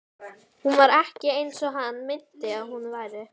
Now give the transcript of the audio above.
Hún var ekki eins og hann minnti að hún væri.